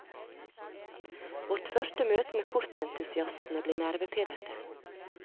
Vårt første møte med kortentusiastene ble nervepirrende.